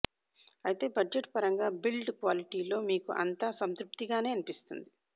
అయితే బడ్జెట్ పరంగా build quality లో మీకు అంతా సంతృప్తిగానే అనిపిస్తుంది